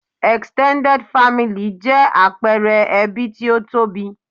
Extended family 'jẹ́ àpẹẹre ẹbí tí ó tóbi